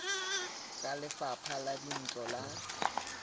ke lefapha la dintlo la